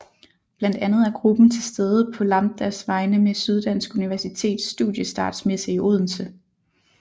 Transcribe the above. Blandt andet er gruppen til stede på Lambdas vegne ved Syddansk Universitets Studiestartsmesse i Odense